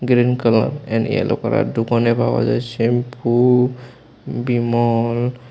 Green colour and yellow colour দোকানে পাওয়া যায় শ্যাম্পু বিমল।